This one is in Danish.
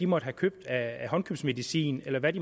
måtte have købt af håndkøbsmedicin eller hvad